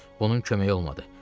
ancaq bunun köməyi olmadı.